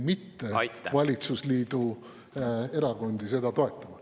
… mitte valitsusliidu erakondi seda toetama.